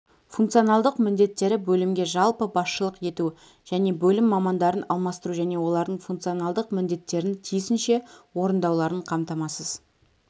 функционалдық міндеттері бөлімге жалпы басшылық ету және бөлім мамандарын алмастыру және олардың функционалдық міндеттерін тиісінше орындауларын қамтамасыз